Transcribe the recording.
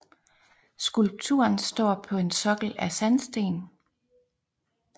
Skulpturen står på en sokkel af sandsten